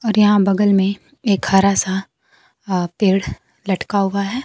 और यहां बगल में एक हरा सा अ पेड़ लटका हुआ है।